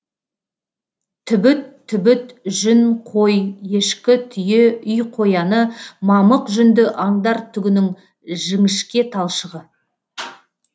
түбіт түбіт жүн қой ешкі түйе үй қояны мамық жүнді аңдар түгінің жіңішке талшығы